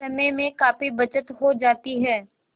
समय में काफी बचत हो जाती है